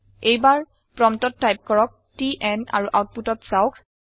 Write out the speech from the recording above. এইবাৰ প্ৰম্পটত টাইপ কৰক টিএন আৰু আওতপুতত চাওক